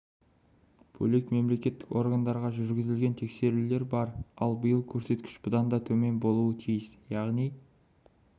бөлек мемлекеттік органдарға жүргізілген тексерулер бар ал биыл көрсеткіш бұдан да төмен болуы тиіс яғни